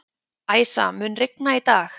Æsa, mun rigna í dag?